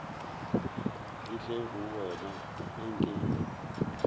ke tle go wena eke